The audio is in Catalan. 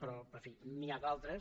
però en fi n’hi ha d’altres